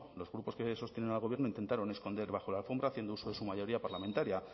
los grupos que sostienen al gobierno intentaron esconder bajo la alfombra haciendo uso de su mayoría parlamentaria